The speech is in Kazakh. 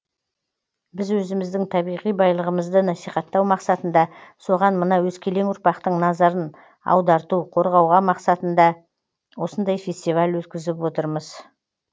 біз өзіміздің табиғи байлығымызды насихаттау мақсатында соған мына өскелең ұрпақтың назарын аударту қорғауға мақсатында осындай фестиваль өткізіп отырмыз